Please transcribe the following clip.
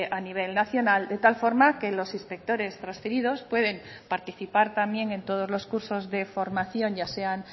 a nivel nacional de tal forma que los inspectores transferidos pueden participar también en todos los cursos de formación ya sean